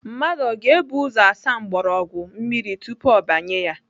Mmadụ ọ ga-ebu ụzọ asa mgbọrọgwụ mmiri tupu ọ banye ya?